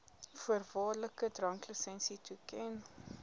voorwaardelike dranklisensie toeken